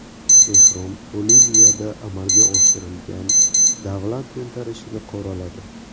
Tehron Boliviyada amalga oshirilgan davlat to‘ntarishini qoraladi.